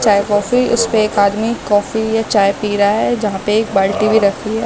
चाय कॉफी उसपे एक आदमी कॉफी चाय पी रहा हैजहा पे एक बाल्टी भी रखी है।